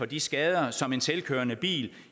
de skader som en selvkørende bil